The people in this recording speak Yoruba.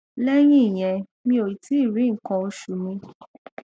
lẹyìn ìyẹn mi ò tíì rí nkan osu mi